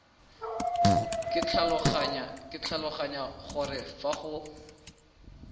ke tlhaloganya gore fa go